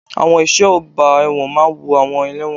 Àwọn ẹ̀ṣọ́ ọgbà ẹ̀wọ̀n máa wo àwọn ẹlẹ́wọ̀n.